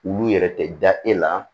Olu yɛrɛ tɛ da e la